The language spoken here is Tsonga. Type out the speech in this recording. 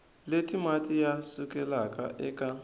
leti mati ya sukelaka eka